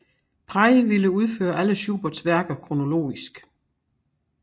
Prey ville udføre alle Schuberts værker kronologisk